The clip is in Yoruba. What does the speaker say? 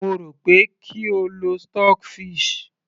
mo rò pé kí o lo stock fish